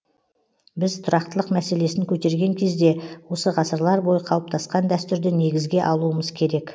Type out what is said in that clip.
біз тұрақтылық мәселесін көтерген кезде осы ғасырлар бойы қалыптасқан дәстүрді негізге алуымыз керек